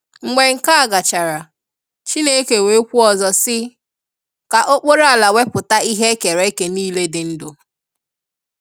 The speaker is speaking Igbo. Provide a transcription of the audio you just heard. Mgbe nke a gachara, Chineke wee kwuo ọzọ si, “ka okporo ala wepụta ihe e kere eke niile dị ndụ.